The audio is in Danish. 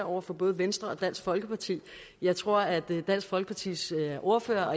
over for både venstre og dansk folkeparti jeg tror at dansk folkepartis ordfører